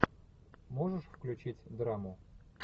можешь включить драму